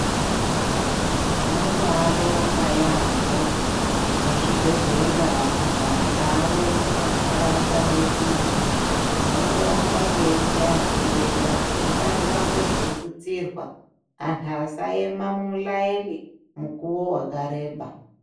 Tinobaabonga yaambo ngezvibhedhlera zvadzare mumantaraunda mwedu. Tinondoramba teichaye bembera kuti ngazvitutsirwe, anhu asaema mumulaeni mukuwo wakareba.